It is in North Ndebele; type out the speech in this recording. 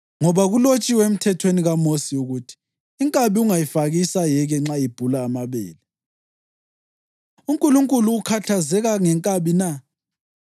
Ngoba kulotshiwe emthethweni kaMosi ukuthi: “Inkabi ungayifaki isayeke nxa ibhula amabele.” + 9.9 UDutheronomi 25.4 UNkulunkulu ukhathazeka ngenkabi na?